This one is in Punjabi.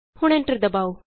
ਹੁਣ ਐਂਟਰ ਦਬਾਉ